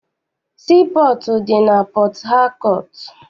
Sii pọọtụ dị na Pọthakọọtụ.